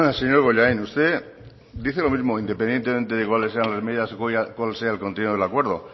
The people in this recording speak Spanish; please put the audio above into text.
señor bollain usted dice lo mismo independientemente de cuales sean las medidas o cual sea el contenido del acuerdo